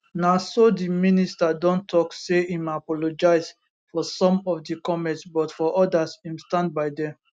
na so di minister don tok say im apologise for some of di comments but for odas im stand by dem